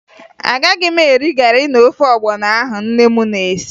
Agaghị m eri garị na ofe ọgbọnọ ahụ nne m na-esi